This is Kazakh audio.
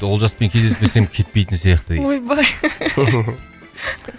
олжаспен кездеспесем кетпейтін сияқты дейді ойбай